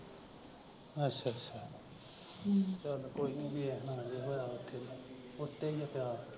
ਅੱਛਾ ਅੱਛਾ ਹਮ ਚੱਲ ਕੋਈ ਨਈਂ ਵੇਖਨਾ ਮੈਂ ਜੇ ਹੋਇਆ ਉੱਥੇ। ਉੱਤੇ ਈ ਆ ਕਾਲਾ।